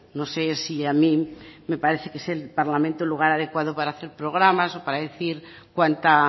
no sé si a mí me parece que es el parlamento lugar adecuado para hacer programas o para decir cuánta